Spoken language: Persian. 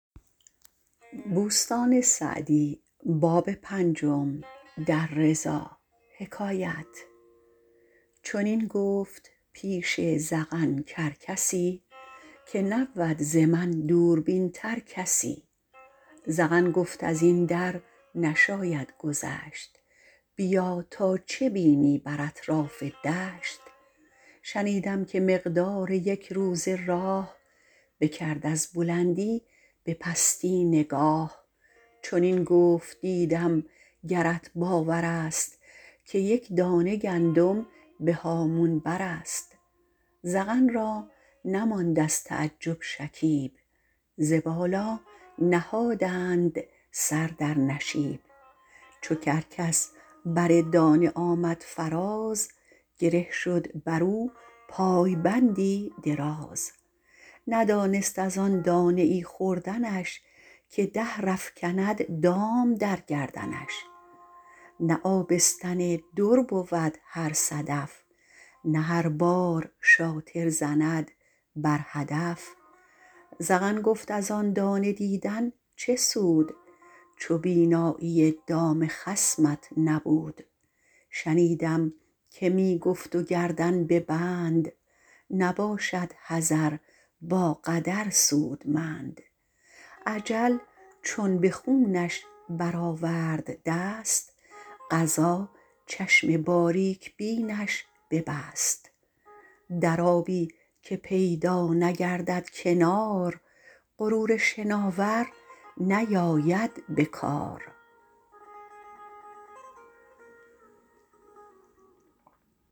چنین گفت پیش زغن کرکسی که نبود ز من دوربین تر کسی زغن گفت از این در نشاید گذشت بیا تا چه بینی بر اطراف دشت شنیدم که مقدار یک روزه راه بکرد از بلندی به پستی نگاه چنین گفت دیدم گرت باور است که یک دانه گندم به هامون بر است زغن را نماند از تعجب شکیب ز بالا نهادند سر در نشیب چو کرکس بر دانه آمد فراز گره شد بر او پایبندی دراز ندانست از آن دانه ای خوردنش که دهر افکند دام در گردنش نه آبستن در بود هر صدف نه هر بار رامی زند بر هدف زغن گفت از آن دانه دیدن چه سود چو بینایی دام خصمت نبود شنیدم که می گفت و گردن به بند نباشد حذر با قدر سودمند اجل چون به خونش بر آورد دست قضا چشم باریک بینش ببست در آبی که پیدا نگردد کنار غرور شناور نیاید به کار